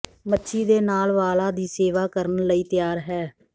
ਮੱਛੀ ਦੇ ਨਾਲ ਵਾਲਾ ਦੀ ਸੇਵਾ ਕਰਨ ਲਈ ਤਿਆਰ ਹੈ